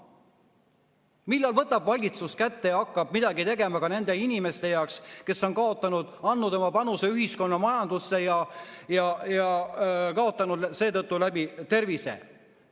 Millal võtab valitsus kätte ja hakkab midagi tegema ka nende inimeste heaks, kes on andnud oma panuse ühiskonna majandusse ja kaotanud seetõttu tervise?